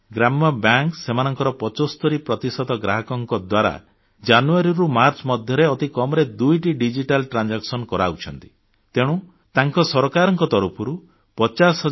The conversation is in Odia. ଗ୍ରାମ୍ୟ ବ୍ୟାଙ୍କ ସେମାନଙ୍କ 75 ପ୍ରତିଶତ ଗ୍ରାହକଙ୍କ ଦ୍ୱାରା ଜାନୁୟାରୀରୁ ମାର୍ଚ୍ଚ ମଧ୍ୟରେ ଅତି କମ୍ ରେ ଦୁଇଟି ଡିଜିଟାଲ ଟ୍ରାନ୍ଜାକସନ୍ କରାଉଛନ୍ତି ତେଣୁ ତାଙ୍କୁ ସରକାରଙ୍କ ତରଫରୁ 50 ହଜାର